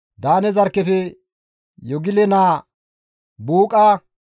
Daane zarkkefe Yogile naa Buuqa,